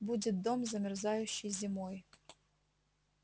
будет дом замерзающий зимой